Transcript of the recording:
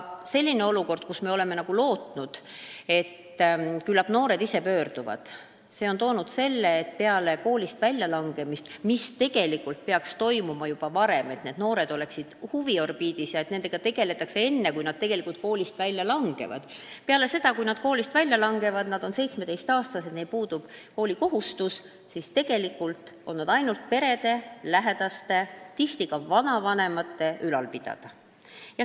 Senine olukord, kus me oleme lootnud, et küllap noored ise pöörduvad, on toonud kaasa selle, et peale koolist väljalangemist – tegelikult peaksid need noored juba varem huviorbiidis olema, et nendega tegeletaks enne, kui nad koolist välja langevad – on nad 17-aastased, neil puudub koolikohustus, ja nad on perede, lähedaste, tihti ka vanavanemate ülal pidada.